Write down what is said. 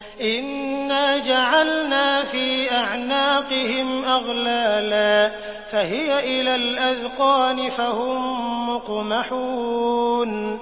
إِنَّا جَعَلْنَا فِي أَعْنَاقِهِمْ أَغْلَالًا فَهِيَ إِلَى الْأَذْقَانِ فَهُم مُّقْمَحُونَ